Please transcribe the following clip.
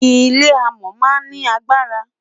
ilé amò má n ni agbara